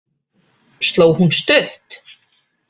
Sló hún stutt?